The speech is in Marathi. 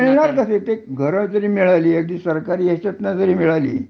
मिळणार तरी कर घर जरी मिळाली अगदी सरकारी याच्यान